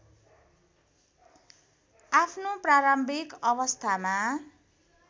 आफ्नो प्रारम्भिक अवस्थामा